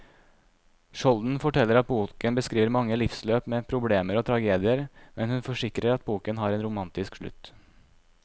Skjolden forteller at boken beskriver mange livsløp med problemer og tragedier, men hun forsikrer at boken har en romantisk slutt.